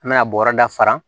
An bɛna bɔrɛ da fara